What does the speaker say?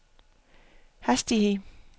hastighed